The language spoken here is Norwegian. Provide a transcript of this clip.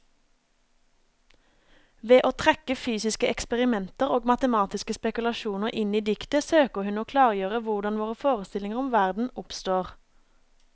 Ved å trekke fysiske eksperimenter og matematiske spekulasjoner inn i diktet, søker hun å klargjøre hvordan våre forestillinger om verden oppstår.